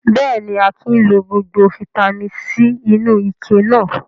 Bẹ́ẹ̀ ni, Akin lọ gbogbo fataímìn C inú ike náà.